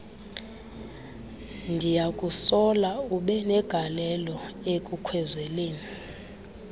ndiyakusola ubenegalelo ekukhwezeleni